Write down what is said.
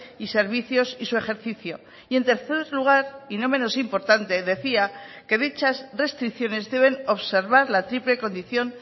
y servicios y su ejercicio y en tercer lugar y no menos importante decía que dichas restricciones deben observar la triple condición